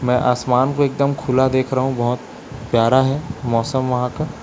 मैं आसमान को एकदम खुला देख रहा हूं बहुत प्यारा है मौसम वहां का।